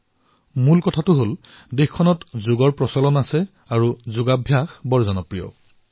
আৰু এটা বিশেষ কথা হল যে তাত যোগাভ্যাস বহু জনপ্ৰিয়